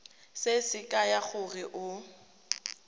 se se kaya gore o